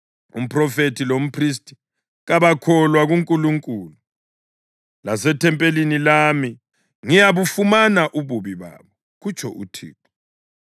“Umphrofethi lomphristi kabakholwa kunkulunkulu; lasethempelini lami ngiyabufumana ububi babo,” kutsho uThixo.